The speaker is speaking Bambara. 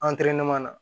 na